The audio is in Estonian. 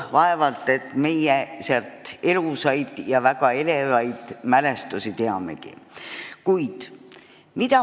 Vaevalt et me sellest ajast väga elavaid mälestusi teamegi.